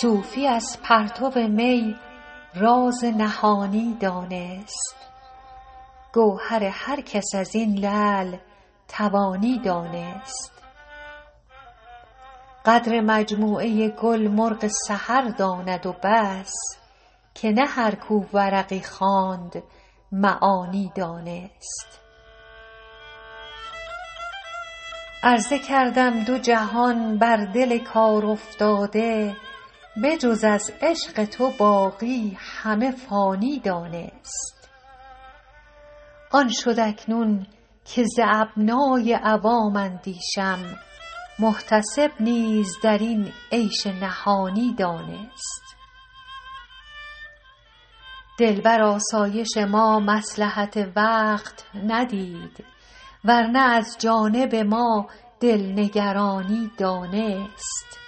صوفی از پرتو می راز نهانی دانست گوهر هر کس از این لعل توانی دانست قدر مجموعه گل مرغ سحر داند و بس که نه هر کو ورقی خواند معانی دانست عرضه کردم دو جهان بر دل کارافتاده به جز از عشق تو باقی همه فانی دانست آن شد اکنون که ز ابنای عوام اندیشم محتسب نیز در این عیش نهانی دانست دل بر آسایش ما مصلحت وقت ندید ور نه از جانب ما دل نگرانی دانست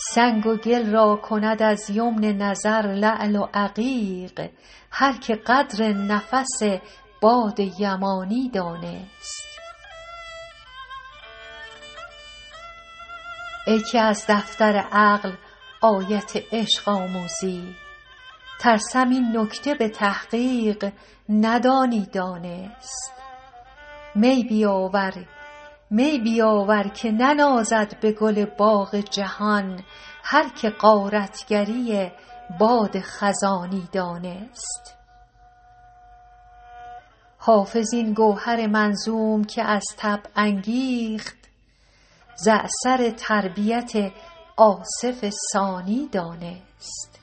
سنگ و گل را کند از یمن نظر لعل و عقیق هر که قدر نفس باد یمانی دانست ای که از دفتر عقل آیت عشق آموزی ترسم این نکته به تحقیق ندانی دانست می بیاور که ننازد به گل باغ جهان هر که غارت گری باد خزانی دانست حافظ این گوهر منظوم که از طبع انگیخت ز اثر تربیت آصف ثانی دانست